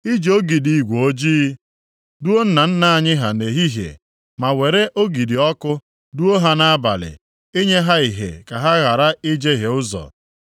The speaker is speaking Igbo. I ji ogidi igwe ojii duo nna nna anyị ha nʼehihie, ma were ogidi ọkụ duo ha nʼabalị, inye ha ìhè ka ha ghara ijehie ụzọ.